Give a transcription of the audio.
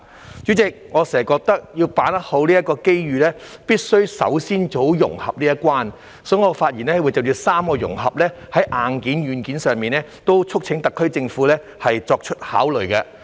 代理主席，我經常認為，要好好把握這個機遇，必須首先做好融合這一關，所以，我會就硬件和軟件上的3個融合發言，促請特區政府考慮。